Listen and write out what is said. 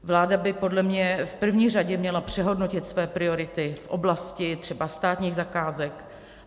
Vláda by podle mě v první řadě měla přehodnotit své priority v oblasti třeba státních zakázek.